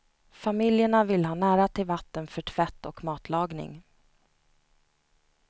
Familjerna vill ha nära till vatten för tvätt och matlagning.